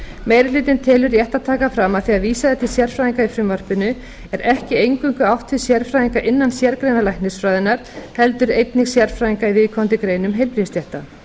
meiri hlutinn telur rétt að taka fram að þegar vísað er til sérfræðinga í frumvarpinu er ekki eingöngu átt við sérfræðinga innan sérgreina læknisfræðinnar heldur einnig sérfræðinga í viðkomandi greinum heilbrigðisstétta